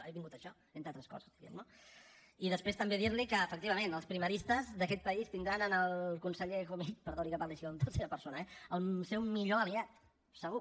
he vingut a això entre altres coses diguem ne no i després també dir li que efectivament els primaristes d’aquest país tindran en el conseller comín perdoni que parli així en tercera persona eh el seu millor aliat segur